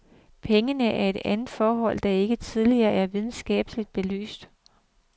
Pengene er et andet forhold, der ikke tidligere er videnskabeligt belyst.